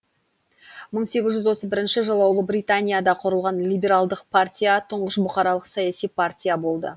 мың сегіз жүз отыз бірінші жылы ұлыбританияда құрылған либералдық партия тұңғыш бұқаралық саяси партия болды